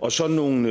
og så nogle